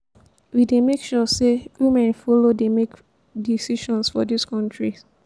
we dey make sure sey women folo dey make decision for dis country.